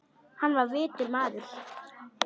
Hann var vitur maður.